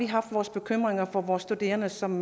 haft vores bekymringer for vores studerende som